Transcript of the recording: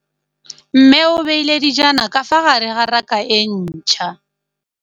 Mmê o beile dijana ka fa gare ga raka e ntšha.